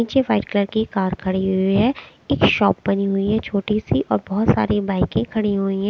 नीचे white colour की एक कार खड़ी हुई है एक शॉप बनी हुई है छोटी सी और बोहोत सारी बाइकें खड़ी हुई हैं।